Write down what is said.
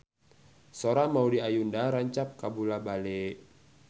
Sora Maudy Ayunda rancage kabula-bale